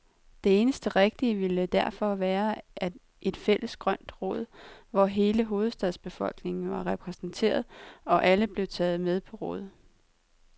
Det eneste rigtige ville derfor være et fælles grønt råd, hvor hele hovedstadens befolkning var repræsenteret, og alle blev taget med på råd.